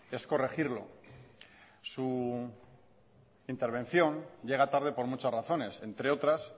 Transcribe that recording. es corregirlo su intervención llega tarde por muchas razones entre otras